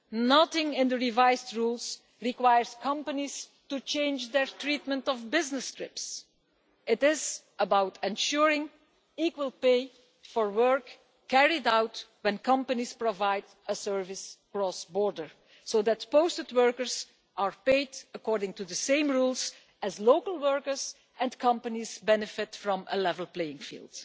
Nothing in the revised rules requires companies to change their treatment of business trips. It is about ensuring equal pay for work carried out when companies provide a service cross border, so that posted workers are paid according to the same rules as local workers and companies benefit from a level playing field.